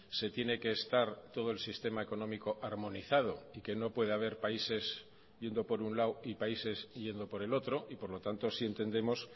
se tiene que estar todo el sistema económico armonizado y que no puede haber países yendo por un lado y países yendo por el otro y por lo tanto sí entendemos